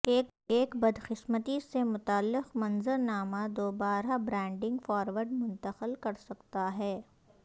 ایک بدقسمتی سے متعلق منظر نامہ دوبارہ برانڈنگ فارورڈ منتقل کر سکتا ہے